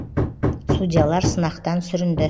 судьялар сынақтан сүрінді